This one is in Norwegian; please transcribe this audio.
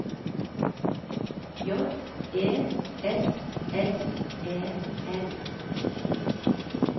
J E S S E N